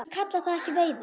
Ég kalla það ekki veiði.